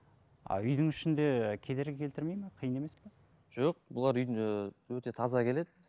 а үйдің ішінде кедергі келтірмейді ме қиын емес пе жоқ бұлар үйдің ііі өте таза келеді